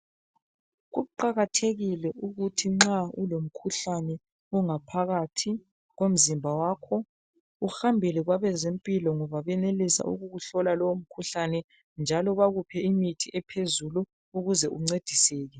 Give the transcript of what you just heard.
Kuqakathekile ukuthi nxa ulomkhuhlane ongaphakathi komzimba wakho uhambele kwabeze mpilakahle ngoba benelisa ukuhlola lowo mkhuhlane njalo bakuphe imithi ephezulu ukuze uncediseke